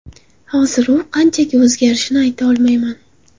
Hozir u qanchaga o‘zgarishini ayta olmayman.